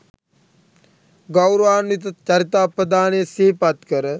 ගෞරවාන්විත චරිතාපදානය සිහිපත් කර